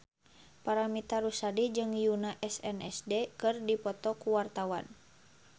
Paramitha Rusady jeung Yoona SNSD keur dipoto ku wartawan